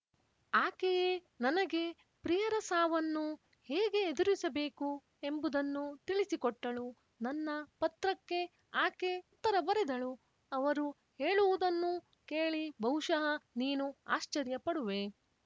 ಆಕೆಯೇ ನನಗೆ ಪ್ರಿಯರ ಸಾವನ್ನು ಹೇಗೆ ಎದುರಿಸಬೇಕು ಎಂಬುದನ್ನು ತಿಳಿಸಿಕೊಟ್ಟಳು ನನ್ನ ಪತ್ರಕ್ಕೆ ಆಕೆ ಉತ್ತರ ಬರೆದಳು ಅವರು ಹೇಳುವುದನ್ನೂ ಕೇಳಿ ಬಹುಶಹ ನೀನು ಆಶ್ಚರ್ಯಪಡುವೆ